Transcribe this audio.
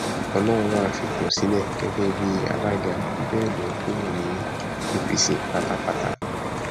ọlọrunwá fipò sílẹ gẹgẹ bíi alága bẹẹ lọ kúrò ní apc pátápátá